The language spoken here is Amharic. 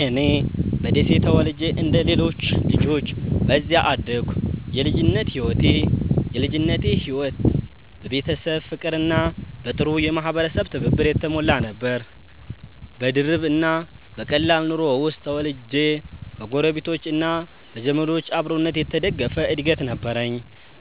እኔ በደሴ ተወልጄ እንደ ሌሎች ልጆች በዚያ አደግኩ። የልጅነቴ ሕይወት በቤተሰብ ፍቅርና በጥሩ የማህበረሰብ ትብብር የተሞላ ነበር። በድርብ እና በቀላል ኑሮ ውስጥ ተወልጄ በጎረቤቶች እና በዘመዶች አብሮነት የተደገፈ እድገት ነበረኝ።